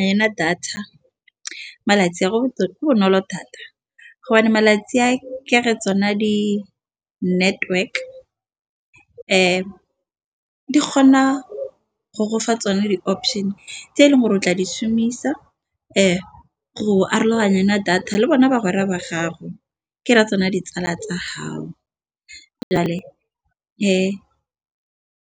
Yona data malatsi a go bonolo thata malatsi a ke re tsona di-network di kgona go go fa tsone di-option tse eleng gore o tla di shomisa. Go araganya data le bona ba ba gago ke ra tsona ditsala tsa gao, jale